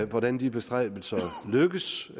hvordan de bestræbelser lykkes